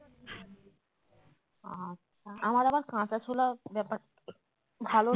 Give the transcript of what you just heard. আচ্ছা আমার আবার কাঁচা ছোলা ব্যাপারটা ভালো